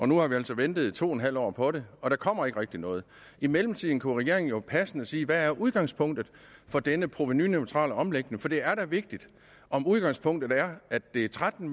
nu har vi altså ventet to en halv år på det og der kommer ikke rigtig noget i mellemtiden kunne regeringen jo passende sige hvad er udgangspunktet for denne provenuneutrale omlægning for det er da vigtigt om udgangspunktet er at det er tretten